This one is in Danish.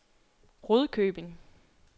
Rudkøbing